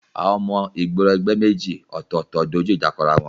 Àwọn ọmọ ìgboro ẹgbẹ́ méjì ọ̀tọ̀ọ̀tọ̀ dojú ìjà kọ ara wọn